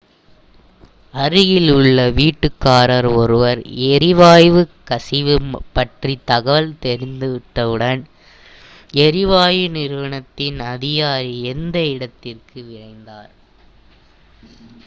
அருகில் உள்ள வீட்டுக்காரர் ஒருவர் எரிவாயு கசிவு பற்றி தகவல் தெரிவித்தவுடன் எரிவாயு நிறுவனத்தின் அதிகாரி அந்த இடத்திற்கு விரைந்தார்